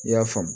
I y'a faamu